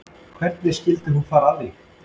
Hvernig skyldi hún fara að því